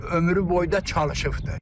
Ömrü boyda çalışıbdır.